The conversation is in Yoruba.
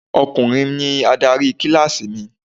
Ọkùnrin ni adarí kíláàsì mi.